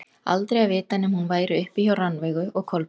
Aldrei að vita nema hún væri uppi hjá Rannveigu og Kolbeini.